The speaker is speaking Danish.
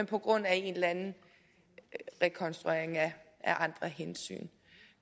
på grund af en eller anden rekonstruering af andre hensyn